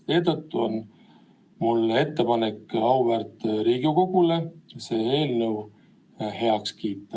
Seetõttu on mul ettepanek auväärt Riigikogule see eelnõu heaks kiita.